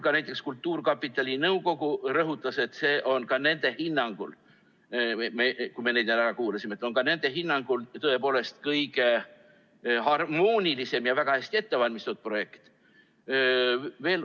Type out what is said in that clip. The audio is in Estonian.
Ka näiteks kultuurkapitali nõukogu rõhutas, kui me neid ära kuulasime, et see on ka nende hinnangul tõepoolest kõige harmoonilisem ja väga hästi ettevalmistatud projekt.